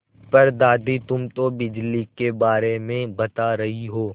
पर दादी तुम तो बिजली के बारे में बता रही हो